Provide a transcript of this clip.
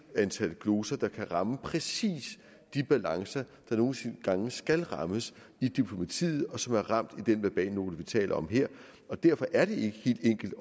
antal gloser der kan ramme præcis de balancer der nogle gange skal rammes i diplomatiet og som er ramt i den verbalnote vi taler om her derfor er det ikke helt enkelt